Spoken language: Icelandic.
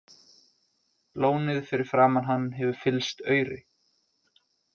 Lónið fyrir framan hann hefur fyllst auri.